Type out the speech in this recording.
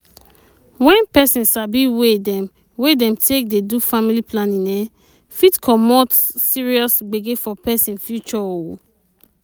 when person sabi wey dem wey dem take dey do family planning um fit commot serious gbege for person future oo